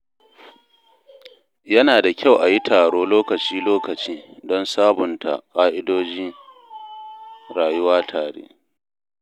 Yana da kyau a yi taro lokaci-lokaci don sabunta ƙa’idojin rayuwa tare.